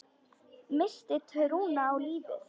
Missti trúna á lífið.